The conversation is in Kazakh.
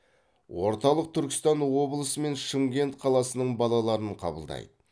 орталық түркістан облысы мен шымкент қаласының балаларын қабылдайды